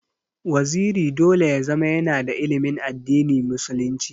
Waziri dole ya zama yana da ilimin addini musulunci.